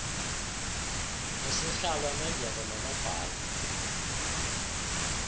usihlalo unondyebo nonobhala